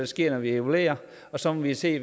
sker når vi evaluerer og så må vi se